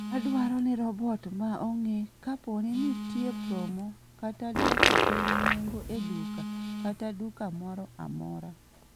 Adwaro ni robot maa ong'e kapo ni nitie promo kata dwoko piny nengo e duka kata duka moro amora